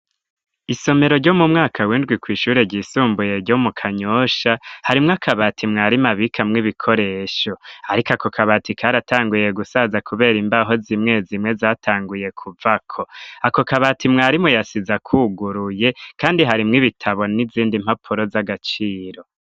Isomero ryo mu mwaka windwi kw'ishure ryisumbuye ryo mu kanyosha harimwo akabati mwarimu abikamwo ibikoresho ariko ako kabati karatanguye gusaza kubera imbaho z'imwe zimwe zatanguye kuvako ako kabati umwarimu yasize kuguruye kandi harimwo ibitabo n'izindi mpapuro z'agaciro.